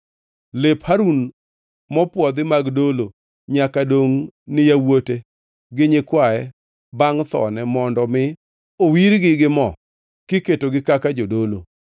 “Lep Harun mopwodhi mag dolo nyaka dongʼ ni yawuote gi nyikwaye bangʼ thone mondo mi owirgi gi mo kiketogi kaka jodolo.